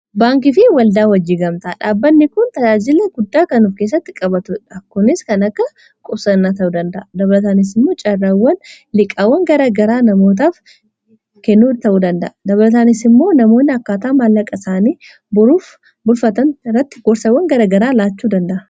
Baankii fi waldaa hojii gamtaa, dhaabbanni kun tajaajila guddaa kennuuf keessatti qabatudha. Kunis kan akka qusannaa ta'u danda'a. Dabalataanis immoo caaraawwan liiqaawwan garagaraa namootaaf kennuu ta'uu danda'a. Dabalataanis immoo namoonni akkaataa maallaqa isaanii bulfatan irratti gorsawwan garagaraa laachuu danda'a.